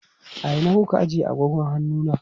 A ina kuka ajiye agogon hannu na?